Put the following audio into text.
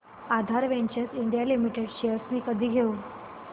आधार ventures India limited shares मी कधी घेऊ